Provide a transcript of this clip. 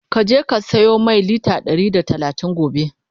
ka je ka siyo Mai litre Ɗari da talatin gobe!